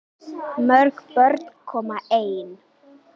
Mörg börn koma ein.